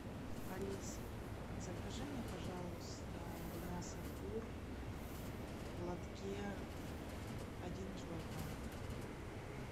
алиса закажи мне пожалуйста мясо кур в лотке один килограмм